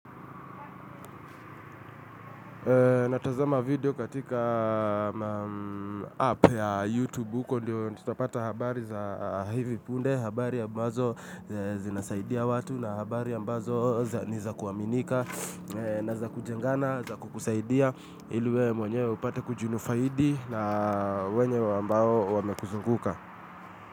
Natazama video katika app ya YouTube, huko ndio tutapata habari za hivi punde, habari ambazo zinasaidia watu, na habari ambazo ni za kuaminika na za kujengana, za kukusaidia ili we mwenyewe upate kujunufaidi na wenye ambao wamekuzunguka.